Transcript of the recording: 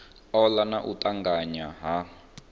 ola na u tanganya ha